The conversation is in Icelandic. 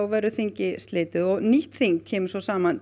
verður þingi slitið og nýtt þing kemur saman